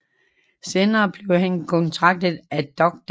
Senere blev han kontaktet af dr